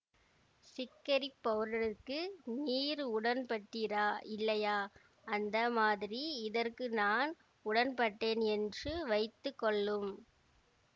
சிக்கரிப் பவுடருக்கு நீர் உடன்பட்டீரா இல்லையா அந்த மாதிரி இதற்கு நான் உடன்பட்டேன் என்று வைத்துக்கொள்ளும்